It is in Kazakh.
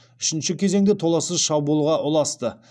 үшінші кезең де толассыз шабуылға ұласты